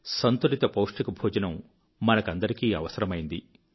సంతులిత పౌష్టిక భోజనం మనకందరికీ అవసరమైనది